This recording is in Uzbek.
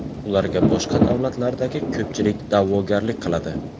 Ularga boshqa davlatlardagi ko‘pchilik da’vogarlik qiladi.